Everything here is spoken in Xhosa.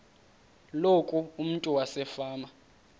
loku umntu wasefama